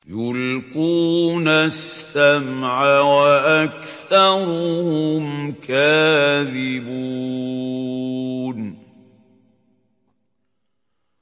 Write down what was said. يُلْقُونَ السَّمْعَ وَأَكْثَرُهُمْ كَاذِبُونَ